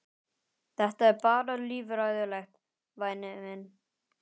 Þetta er bara líffræðilegt, væni minn.